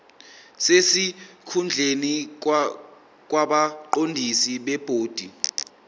sesikhundleni kwabaqondisi bebhodi